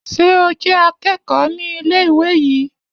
Ṣé o jé akẹ́kọ̀ọ́ ní ilé ìwé yìí